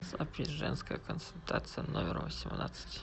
запись женская консультация номер восемнадцать